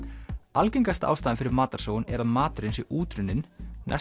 algengasta ástæðan fyrir matarsóun er að maturinn sé útrunninn